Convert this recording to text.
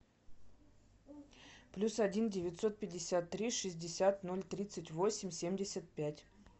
плюс один девятьсот пятьдесят три шестьдесят ноль тридцать восемь семьдесят пять